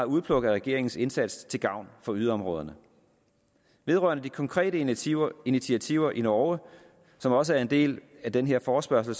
udpluk af regeringens indsats til gavn for yderområderne vedrørende de konkrete initiativer initiativer i norge som også er en del af den her forespørgsel